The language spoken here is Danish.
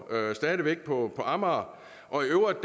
stadig væk på amager og i øvrigt